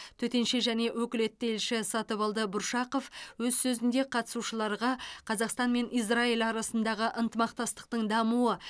төтенше және өкілетті елші сатыбалды бұршақов өз сөзінде қатысушыларға қазақстан мен израиль арасындағы ынтымақтастықтың дамуы